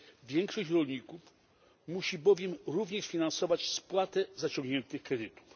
Większość rolników musi bowiem również finansować spłaty zaciągniętych kredytów.